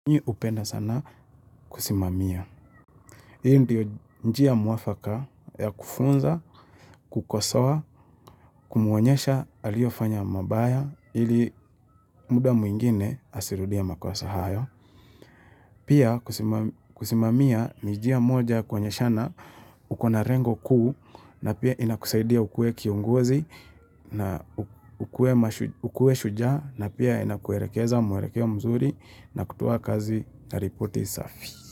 Mi hupenda sana kusimamia. Hii ndio njia mwafaka ya kufunza, kukosoa, kumwonyesha aliofanya mabaya ili muda mwingine asirudie makosa hayo. Pia kusimamia ni njia moja yakuonyeshana ukona rengo kuu na pia inakusaidia ukue kiongozi na ukue shujaa na pia inakuerekeza muerekeo mzuri na kutoa kazi na ripoti safi.